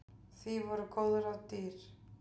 Því voru góð ráð dýr.